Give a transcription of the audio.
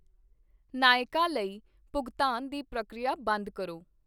ਨਾਈਕਾ ਲਈ ਭੁਗਤਾਨ ਦੀ ਪ੍ਰਕਿਰਿਆ ਬੰਦ ਕਰੋ।